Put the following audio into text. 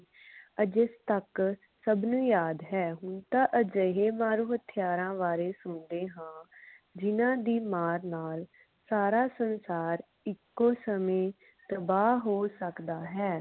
ਅਜੇ ਤਕ ਸਭ ਨੂੰ ਯਾਦ ਹੈ ਹੁਣ ਤਾ ਅਜਿਹੇ ਮਾਰੂ ਹਥਿਆਰਾਂ ਬਾਰੇ ਸੁਣਦੇ ਹਾਂ ਜਿਨ੍ਹਾਂ ਦੀ ਮਾਰ ਨਾਲ ਸਾਰਾ ਸੰਸਾਰ ਏਕੋ ਸਮੇ ਤਬਾਹ ਹੋ ਸਕਦਾ ਹੈ